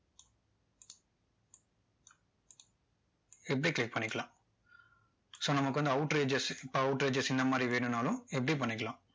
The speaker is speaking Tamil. இப்படி click பண்ணிக்கலாம் so நமக்கு வந்து outer edges இப்போ outer edges இந்த மாதிரி வேணும்னாலும் இப்படி பண்ணிக்கலாம்